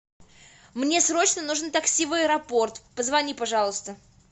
мне срочно нужно такси в аэропорт позвони пожалуйста